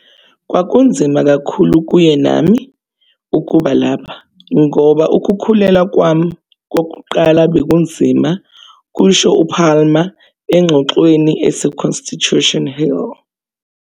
"Kwakunzima kakhulu kuye nami, nami ukuba lapha ngoba ukukhulelwa kwami ​​kokuqala bekunzima," kusho uPalmer engxoxweni ese-Constitution Hill.